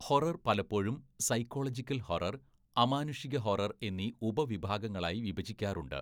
Horror പലപ്പോഴും psychological horror, അമാനുഷിക horror എന്നീ ഉപ വിഭാഗങ്ങളായി വിഭജിക്കാറുണ്ട്.